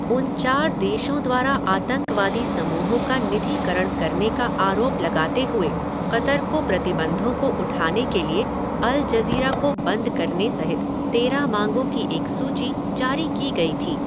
उन चार देशों द्वारा आतंकवादी समूहों का निधिकरण करने का आरोप लगाते हुए क़तर को प्रतिबंधों को उठाने के लिए अल जज़ीरा को बंद करने सहित तेरह मांगों की एक सूची जारी की गई थी।